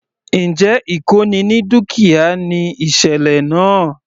Njẹ́ ìkóni ní dúkìá ni ìsẹ̀lẹ̀ náà?